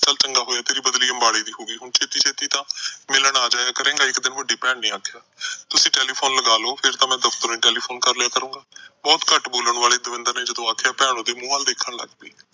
ਚਲ ਚੰਗਾ ਹੋਇਆ ਤੇਰੀ ਬਦਲੀ ਅੰਬਾਲੇ ਦੀ ਹੋ ਗਈ, ਹੁਣ ਛੇਤੀ-ਛੇਤੀ ਤਾਂ ਮਿਲਣ ਆ ਜਾਇਆ ਕਰੇਗਾ, ਇੱਕ ਦਿਨ ਵੱਡੀ ਭੈਣ ਨੇ ਆਖਿਆ। ਤੁਸੀਂ telephone ਲੱਗਾ ਲੋ, ਫਿਰ ਤਾਂ ਮੈਂ ਦਫਤਰੋਂ ਹੀ telephone ਕਰ ਲਿਆ ਕਰੂੰਗਾ। ਬਹੁਤ ਘੱਟ ਬੋਲਣ ਆਲੇ ਦਵਿੰਦਰ ਨੇ ਜਦੋਂ ਆਖਿਆ, ਭੈਣ ਉਹਦੇ ਮੂੰਹ ਵੱਲ ਦੇਖਣ ਲੱਗ ਪਈ।